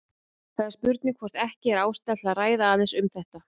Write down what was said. Það er spurning hvort ekki er ástæða til að ræða aðeins um þetta.